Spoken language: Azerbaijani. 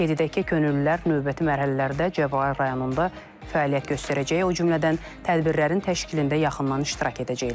Qeyd edək ki, könüllülər növbəti mərhələlərdə Cəbrayıl rayonunda fəaliyyət göstərəcək, o cümlədən tədbirlərin təşkilində yaxından iştirak edəcəklər.